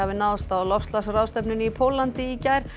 náðist á loftslagsráðstefnunni í Póllandi í gær